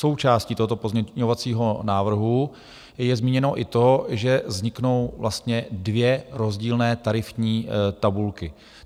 Součástí tohoto pozměňovacího návrhu je zmíněno i to, že vzniknou vlastně dvě rozdílné tarifní tabulky.